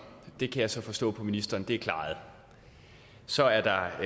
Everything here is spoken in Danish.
det kan jeg så forstå på ministeren er klaret så er der